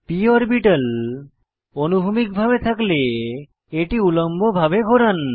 p orbital অনুভূমিক ভাবে থাকতে এটি উল্লম্ব ভাবে ঘোরান